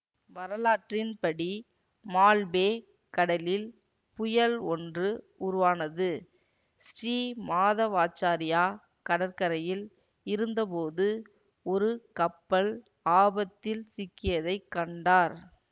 வரலாற்றின் படி மால்பே கடலில் புயல் ஒன்று உருவானது ஸ்ரீ மாதவாச்சாரியா கடற்கறையில் இருந்தபோது ஒரு கப்பல் ஆபத்தில் சிக்கியதை கண்டார்